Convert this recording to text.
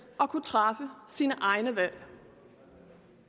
og kunne træffe sine egne valg